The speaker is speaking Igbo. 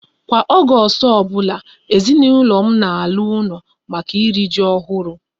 Kwa Ọgọọst ọbụla, ezinaụlọ m na ala ụlọ maka iri ji ọhụrụ